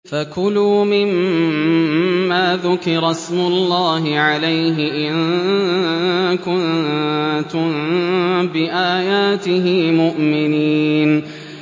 فَكُلُوا مِمَّا ذُكِرَ اسْمُ اللَّهِ عَلَيْهِ إِن كُنتُم بِآيَاتِهِ مُؤْمِنِينَ